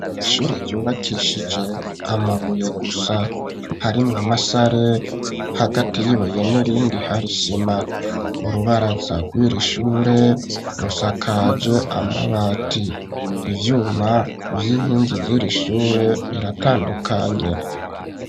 Ishure ryubakeshije amabuye gusa harimwo amasare hagati y'ibuye n'irindi hari isima urubaraza rwiri shure rusakaje amabati ivyuma vy'inkingi ziri shure biratandukanye.